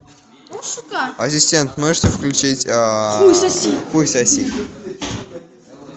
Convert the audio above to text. ассистент можете включить хуй соси